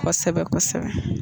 Kosɛbɛ kosɛbɛ